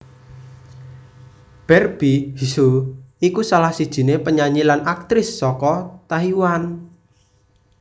Barbie hsu iku salah sijiné penyanyi lan aktris saka Taiwan